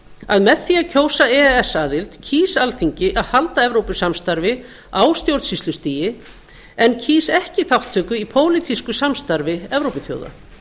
að með því að kjósa ess aðild kýs alþingi að halda evrópusamstarfi á stjórnsýslustigi en kýs ekki þátttöku í pólitísku samstarfi evrópuþjóða